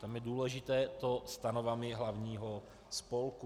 Tam je důležité to "stanovami hlavního spolku".